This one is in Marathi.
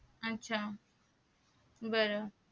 आच्छा बर